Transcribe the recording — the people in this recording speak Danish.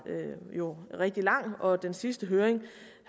jo var rigtig lang og den sidste høring